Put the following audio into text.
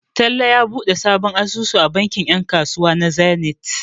Talle ya buɗe sabon asusu a bankin 'yan kasuwa na Zenith.